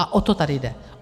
A o to tady jde.